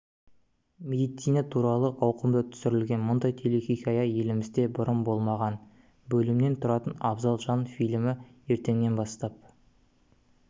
медицина туралы ауқымды түсірілген мұндай телехикая елімізде бұрын болмаған бөлімнен тұратын абзал жан фильмі ертеңнен бастап